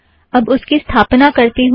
अब उसकी स्थापना करती हूँ